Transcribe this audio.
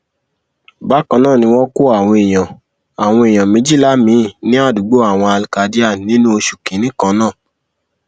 bákan náà ni wọn kó àwọn èèyàn àwọn èèyàn méjìlá miín ní àdúgbò àwọn alkadiyar nínú oṣù kínínní kan náà